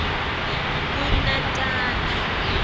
kunatana